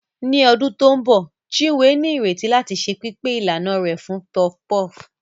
Ní ọdún tó ń bọ̀, Chinwe ní ìrètí láti ṣe pípé ìlànà rẹ̀ fún puff puff.